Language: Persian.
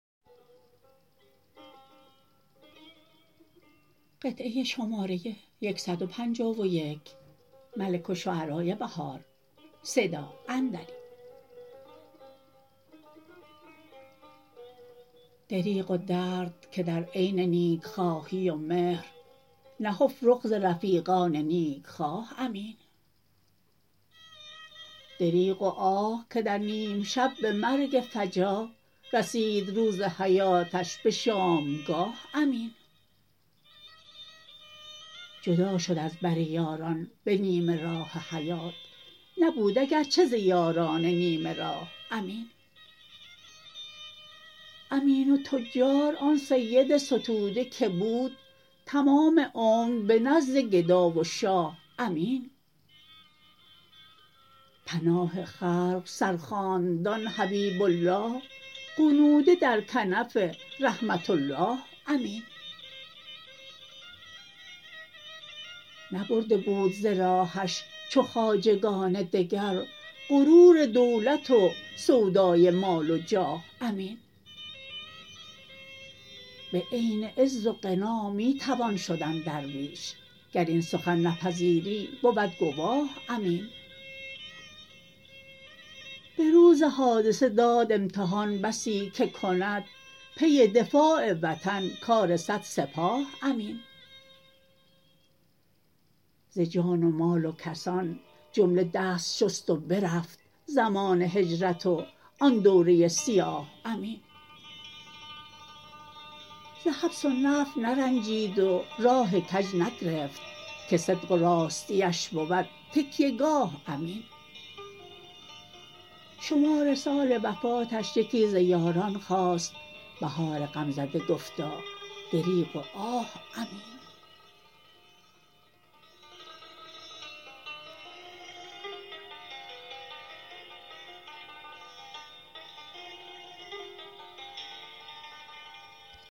دریغ و درد که در عین نیکخواهی و مهر نهفت رخ ز رفیقان نیکخواه امین دریغ و آه که در نیم شب به مرگ فجا رسید روز حیاتش به شامگاه امین جدا شد از بر یاران به نیمه راه حیات نبود اگرچه ز یاران نیمه راه امین امین تجار آن سید ستوده که بود تمام عمر به نزد گدا و شاه امین پناه خلق سر خاندان حبیب الله غنوده در کنف رحمت اله امین نبرده بود ز راهش چو خواجگان دگر غرور دولت و سودای مال و جاه امین بعین عز و غنا می توان شدن درویش گر این سخن نپذیری بود گواه امین به روز حادثه داد امتحان بسی که کند پی دفاع وطن کار صد سپاه امین ز جان و مال و کسان جمله دست شست و برفت زمان هجرت و آن دوره سیاه امین ز حبس و نفی نرنجید و راه کج نگرفت که صدق و راستیش بود تکیه گاه امین شمار سال وفاتش یکی ز یاران خواست بهار غمزده گفتا دریغ و آه امین